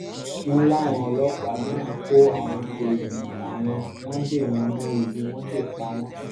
wọ́n láwọn ọlọ́pàá náà kó àwọn èèyàn àwọn wọn dè wọ́n mọ́ igi wọ́n sì pa wọ́n